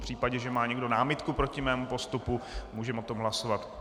V případě, že má někdo námitku proti mému postupu, můžeme o tom hlasovat.